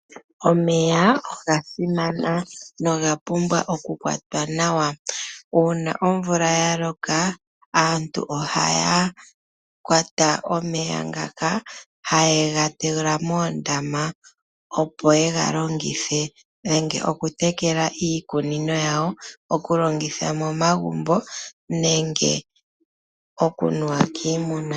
Omeya oga simana nogapumbwa okukwatwa nawa. Uuna omvula yaloka aantu ohaya kwata omeya ngaka haye gatula moondama opo ye galongithe, nenge okutekela iikunino yawo, okulongitha momagumbo, nenge okunuwa kiimuna.